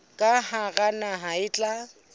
ka hara naha le tla